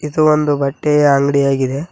ಇದು ಒಂದು ಬಟ್ಟೆಯ ಅಂಗ್ಡಿ ಆಗಿದೆ.